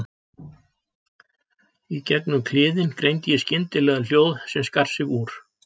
Í gegnum kliðinn greindi ég skyndilega hljóð sem skar sig úr.